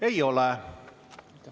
Ei ole.